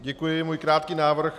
Děkuji, mám krátký návrh.